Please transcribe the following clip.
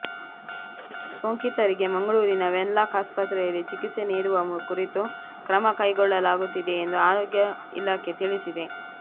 ಸೋಂಕಿತರಿಗೆ ಮಂಗಳೂರಿನ Wenlock ಆಸ್ಪತ್ರೆಯಲ್ಲಿ ಚಿಕಿತ್ಸೆ ನಿಡುವ ಕುರಿತು ಕ್ರಮ ಕೈಗೊಳ್ಳಲಾಗುತ್ತಿದೆ ಎಂದು ಆರೋಗ್ಯ ಇಲಾಖೆ ತಿಳಿಸಿದೆ